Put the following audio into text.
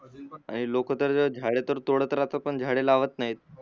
लोक तर झाडे तर तोडत राहतात पण झाडे लावत नाहीत